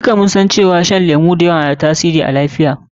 Duka mun san cewa shan lemu da yawa na da tasiri akan lafiya.